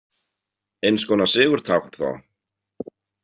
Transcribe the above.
Eins konar sigurtákn þá?